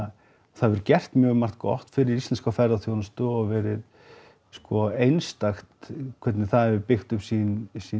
það hefur gert mjög margt gott fyrir íslenska ferðaþjónustu og verið sko einstakt hvernig það hefur byggt upp sín sín